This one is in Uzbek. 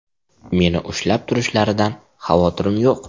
Meni ushlab turishlaridan xavotirim yo‘q.